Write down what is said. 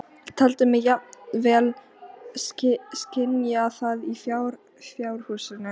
Sá krúnurakaði opnaði svarta bók og bað um skilríki.